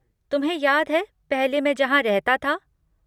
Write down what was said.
तुम्हें याद है पहले मैं जहाँ रहता था?